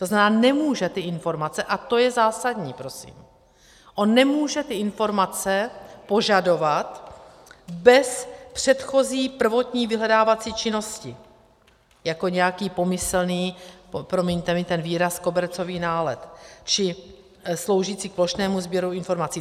To znamená, nemůže ty informace, a to je zásadní prosím, on nemůže ty informace požadovat bez předchozí prvotní vyhledávací činnosti jako nějaký pomyslný, promiňte mi ten výraz, kobercový nálet či sloužící k plošnému sběru informací.